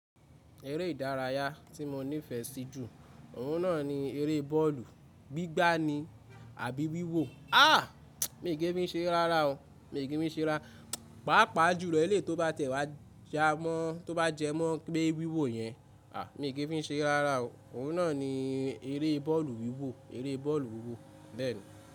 Eré ìdárayá tí mo nífẹ̀ẹ́ sí jù, òun náà ni eré bọ́ọ̀lù. Gbigba ni àbí wíwò? A! Mi ò kí ń fí se re rárá o. Mi ò kí ń fí se rárá. Pàápàá jùlọ èlé tó bá tẹ̀wá jẹ mọ́, tó bá jẹ mọ́ pé wíwò yẹn. A! Mi ò kí ń fí se rárá o. Òun náà ni eré bọ́ọ̀lù wíwò, eré bọ́ọ̀lù wíwò.